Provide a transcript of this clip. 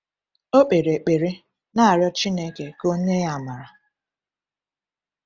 Ọ kpere ekpere, na-arịọ Chineke ka O nye ya amara.